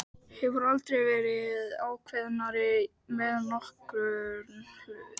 Hefur aldrei verið ákveðnari með nokkurn hlut.